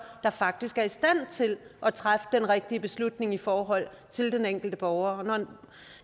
der faktisk er i stand til at træffe den rigtige beslutning i forhold til den enkelte borger herre